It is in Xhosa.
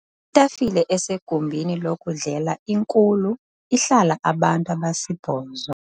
Itafile esegumbini lokudlela inkulu ihlala abantu abasibhozo.